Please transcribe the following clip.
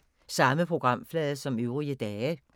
Samme programflade som øvrige dage